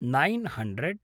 nine hundred